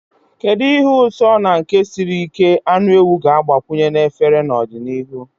Kedu ihe ụtọ na nke siri ike anụ ewu ga-agbakwunye na efere n'ọdịnihu?